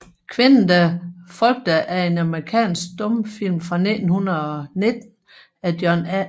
Kvinden der frygtede er en amerikansk stumfilm fra 1919 af John A